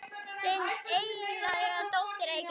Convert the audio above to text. Þín einlæga dóttir Eygló.